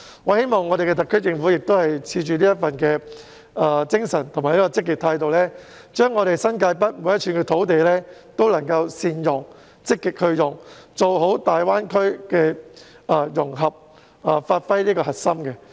我希望特區政府也抱持着這份精神和積極態度，善用和積極使用新界北每一寸土地，做好粵港澳大灣區的融合工作，發揮核心作用。